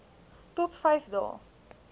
tot vyf dae